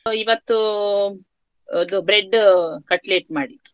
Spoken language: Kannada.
So ಇವತ್ತು bread cutlet ಮಾಡಿದು.